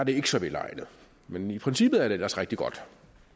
ikke så velegnet men i princippet er det ellers rigtig godt